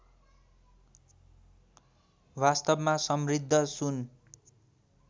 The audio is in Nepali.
वास्तवमा समृद्ध सुन